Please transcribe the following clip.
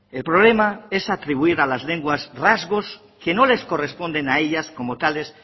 el problema es atribuir a las lenguas rasgos que no les corresponden a ellas como tales